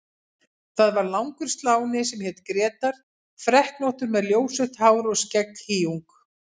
Það var langur sláni sem hét Grétar, freknóttur með ljósrautt hár og skegghýjung.